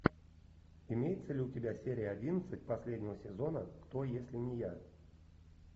имеется ли у тебя серия одиннадцать последнего сезона кто если не я